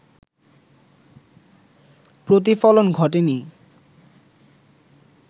প্রতিফলন ঘটেনি